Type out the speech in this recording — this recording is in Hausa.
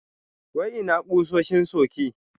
Wai ina kusoshin suke?